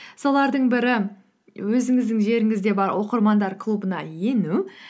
солардың бірі өзіңіздің жеріңізде бар оқырмандар клубына ену